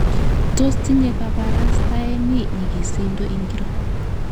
Tos tinye kabarastaeni nyigisindo ngiro?